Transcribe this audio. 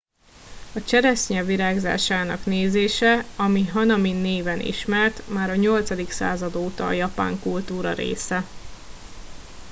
a cseresznye virágzásának nézése ami hanami néven ismert már a 8. század óta a japán kultúra része